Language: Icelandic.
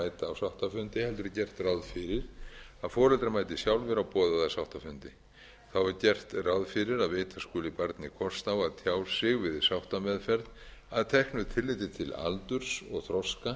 dæmis lögmanni að mæta á sáttafundi heldur er gert ráð fyrir að foreldrar mæti sjálfir á boðaða sáttafundi þá er gert ráð fyrir að veita skuli barni kost á að tjá sig við sáttameðferð að teknu tilliti til aldurs og þroska